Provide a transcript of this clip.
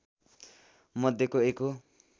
मध्येको एक हो।